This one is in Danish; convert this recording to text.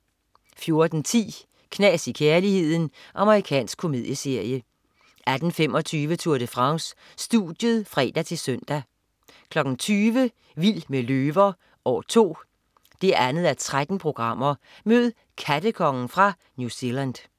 14.10 Knas i kærligheden. Amerikansk komedieserie 18.25 Tour de France. Studiet (fre-søn) 20.00 Vild med løver. År 2. 2:13. Mød "kattekongen" fra New Zealand